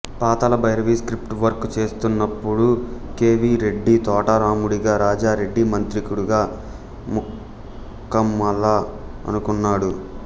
Pathala Bhairavi script work చేస్తున్నప్పుడు కె వి రెడ్డి తోటరాముడిగా రాజారెడ్డి మాంత్రికుడిగా ముక్కామల అనుకున్నాడు